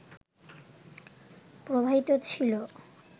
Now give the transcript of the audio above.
প্রবাহিত ছিলো